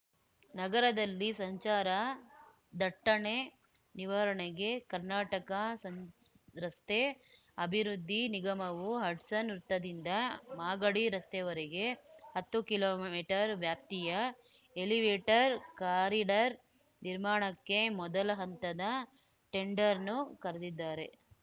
ನಗರದಲ್ಲಿ ಸಂಚಾರ ದಟ್ಟಣೆ ನಿವಾರಣೆಗೆ ಕರ್ನಾಟಕ ಸಂಚ್ ರಸ್ತೆ ಅಭಿವೃದ್ಧಿ ನಿಗಮವು ಹಡ್ಸನ್ ವೃತ್ತದಿಂದ ಮಾಗಡಿ ರಸ್ತೆವರೆಗೆ ಹತ್ತು ಕಿಲೋಮೀಟರ್ ವ್ಯಾಪ್ತಿಯ ಎಲಿವೇಟೆರ್ ಕಾರಿಡಾರ್ ನಿರ್ಮಾಣಕ್ಕೆ ಮೊದಲ ಹಂತದ ಟೆಂಡರ್‌ನ್ನು ಕರ್ದಿದ್ದಾರೆ